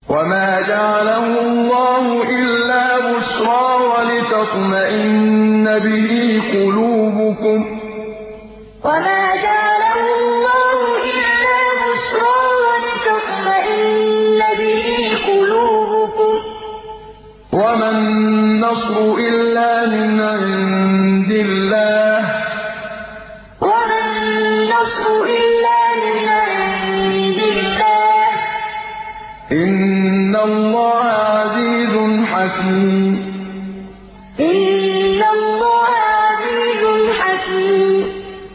وَمَا جَعَلَهُ اللَّهُ إِلَّا بُشْرَىٰ وَلِتَطْمَئِنَّ بِهِ قُلُوبُكُمْ ۚ وَمَا النَّصْرُ إِلَّا مِنْ عِندِ اللَّهِ ۚ إِنَّ اللَّهَ عَزِيزٌ حَكِيمٌ وَمَا جَعَلَهُ اللَّهُ إِلَّا بُشْرَىٰ وَلِتَطْمَئِنَّ بِهِ قُلُوبُكُمْ ۚ وَمَا النَّصْرُ إِلَّا مِنْ عِندِ اللَّهِ ۚ إِنَّ اللَّهَ عَزِيزٌ حَكِيمٌ